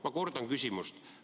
Ma kordan küsimust.